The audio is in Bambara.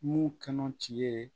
Mun kanu ti ye